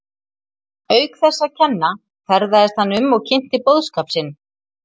Auk þess að kenna ferðaðist hann um og kynnti boðskap sinn.